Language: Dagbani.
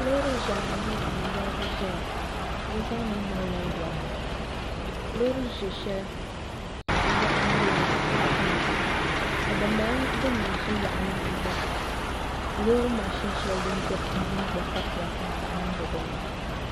Loori ʒiɛhi ayi n woligi ʒɛya bi zaa mii malila lori loori ʒiɛ shɛli loɣu malila tankpaɣu ka din bala din mii ʒi yaɣali maa gba loori mashin shɛli gba koritila tankpaɣu niŋdi dinni